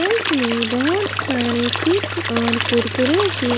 self में बहोत सारे चिप्स और कुरकुरे के--